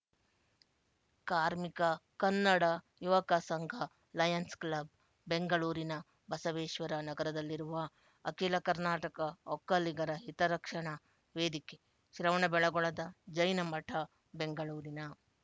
ಕಾರ್ಮಿಕ ಕನ್ನಡ ಯುವಕ ಸಂಘ ಲಯನ್ಸ್ ಕ್ಲಬ್ ಬೆಂಗಳೂರಿನ ಬಸವೇಶ್ವರ ನಗರದಲ್ಲಿರುವ ಅಖಿಲ ಕರ್ನಾಟಕ ಒಕ್ಕಲಿಗರ ಹಿತರಕ್ಷಣಾ ವೇದಿಕೆ ಶ್ರವಣಬೆಳಗೊಳದ ಜೈನಮಠ ಬೆಂಗಳೂರಿನ